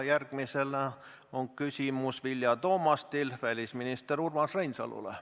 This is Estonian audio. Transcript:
Järgmisena on küsimus Vilja Toomastil välisminister Urmas Reinsalule.